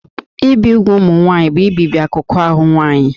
Ibi úgwù ụmụ nwaanyị bụ ibibi akụkụ ahụ nwanyị